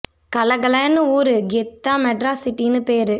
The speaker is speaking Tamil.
கல கல னு ஊரு கெத்தா மெட்ராஸ் சிட்டி னு பேரு